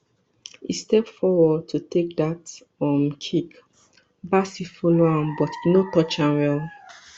e step forward to take dat um kick bassey follow am but e no touch am well